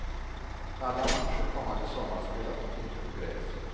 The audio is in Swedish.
Alla matcher kommande sommar spelas dock inte på gräs.